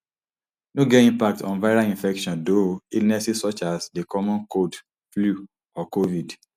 no get impact on viral infections though illnesses such as di common cold flu or covid